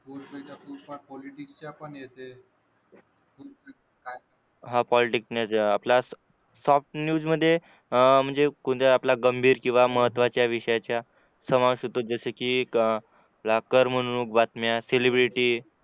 soft news मध्ये अं म्हणजे कोणत्या आपल्या गंभीर किंवा महत्त्वाच्या विषयाच्या समाज सुतक जैसी की अह लाकर म्हणून बातम्या सेलिब्रिटी